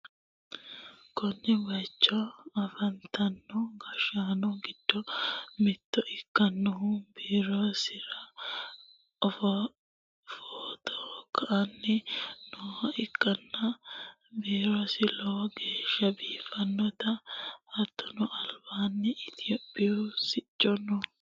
konne bayicho afantino gashshaano giddo mitto ikkinohu biirosira footo ka'anni nooha ikkanna, biirosino lowo geeshsha biiffannote, hattono albaanni itiyoophiyu sicci no.